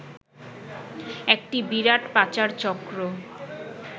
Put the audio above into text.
একটি বিরাট পাচার চক্র